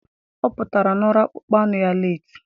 Ọ pụtara na ọrụ akpụkpọ anụ ya leetị